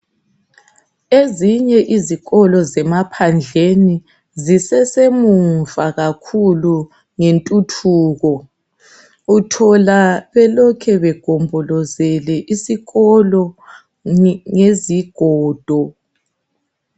Ezinye izikolo zemaphandleni zisesemuva kakhulu ngentuthuko uthola belokhe begombolozele isikolo ngezigodo.